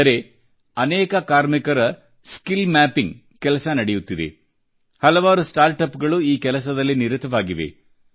ಅಂದರೆ ಅನೇಕ ಕಾರ್ಮಿಕರ ಸ್ಕಿಲ್ ಮ್ಯಾಪಿಂಗ್ ನ ಕೆಲಸ ನಡೆಯುತ್ತಿದೆ ಹಲವಾರು ಸ್ಟಾರ್ ಅಪ್ ಗಳು ಈ ಕೆಲಸದಲ್ಲಿ ನಿರತವಾಗಿವೆ